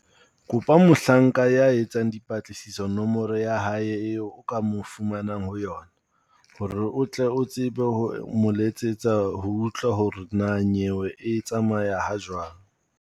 Kopa mohlanka ya etsang dipatlisiso nomoro ya hae eo o ka mo fumanang ho yona, hore o tle o tsebe ho mo letsetsa ho utlwa hore na nyewe e tsamaya ha jwang.